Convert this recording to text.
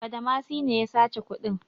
Badamasi ne ya sace kuɗin.